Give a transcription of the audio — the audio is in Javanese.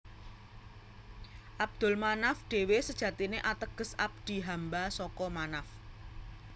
Abdul Manaf dhewe sejatine ateges abdi hamba saka Manaf